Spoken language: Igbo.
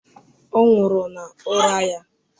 Ọ nwụrụ n'ụra ya.